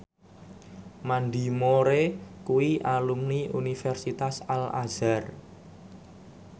Mandy Moore kuwi alumni Universitas Al Azhar